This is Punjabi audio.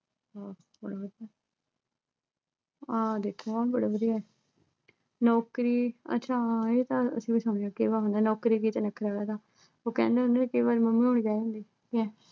ਆਹ ਦੇਖੋ ਆਹ ਬੜੀ ਵਧੀਐ ਨੌਕਰੀ ਆਹ ਅੱਛਾ ਹਾਂ ਇਹ ਤਾਂ ਅਸੀਂ ਵੀ ਸੁਣਿਐ ਨੌਕਰੀ ਵਿੱਚ ਨਖਰਾ ਕਾਹਦਾ ਉਹ ਕਹਿੰਦੇ ਹੁੰਦੇ ਕਈ ਵਾਰ mummies ਵੀ ਕਹਿ ਦਿੰਦੀਆ ਲੈ